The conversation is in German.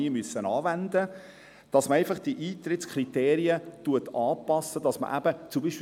Aber es wurden zusätzlich 50 Integrationsklassen geschaffen.